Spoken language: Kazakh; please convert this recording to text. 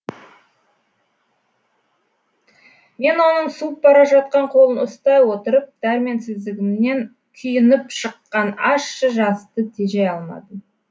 мен оның суып бара жатқан қолын ұстай отырып дәрменсіздігімнен күйініп шыққан ащы жасты тежей алмадым